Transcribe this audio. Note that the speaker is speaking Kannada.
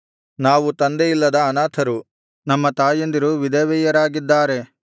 ನಾವು ತಂದೆಯಿಲ್ಲದ ಅನಾಥರು ನಮ್ಮ ತಾಯಂದಿರು ವಿಧವೆಯರಾಗಿದ್ದಾರೆ